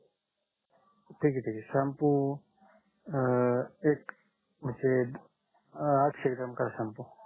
ठीक आहे ठीक आहे शाम्पू अं एक म्हणजे आठशे ग्रॉम करा शाम्पू